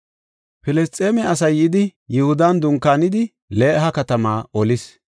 Filisxeeme asay yidi Yihudan dunkaanidi Leha katamaa olis.